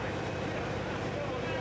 Sağa gedirəm, sola gedirəm.